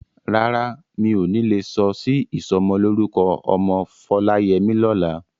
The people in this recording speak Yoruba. Rárá, mi ò ní lè lọ sí ìsọmọlórúkọ ọmọ Foláyẹmí lọ́la.